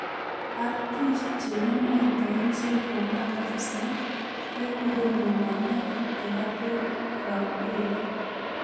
RT chekimowitoen central nervous system kekuren lubaniat teratoid rhabdoid.